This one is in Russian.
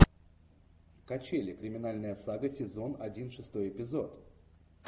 качели криминальная сага сезон один шестой эпизод